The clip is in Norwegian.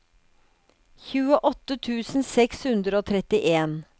tjueåtte tusen seks hundre og trettien